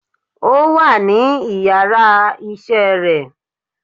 o wa ní ìyára iṣẹ re